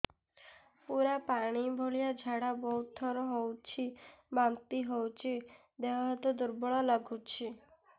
ପୁରା ପାଣି ଭଳିଆ ଝାଡା ବହୁତ ଥର ହଉଛି ବାନ୍ତି ହଉଚି ଦେହ ହାତ ଦୁର୍ବଳ ଲାଗୁଚି